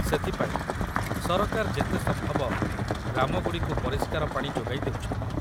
ସେଥିପାଇଁ ସରକାର ଯେତେ ସମ୍ଭବ ଗ୍ରାମଗୁଡ଼ିକୁ ପରିଷ୍କାର ପାଣି ଯୋଗାଇ ଦେଉଛନ୍ତି